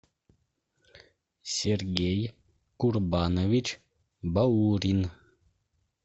сергей курбанович баурин